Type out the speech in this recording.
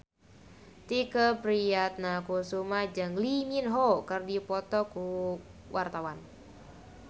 Tike Priatnakusuma jeung Lee Min Ho keur dipoto ku wartawan